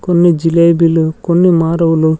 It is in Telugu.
కొన్ని జిలేబీలు కొన్ని మారవులు--